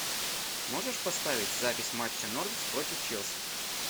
можешь поставить запись матча норвич против челси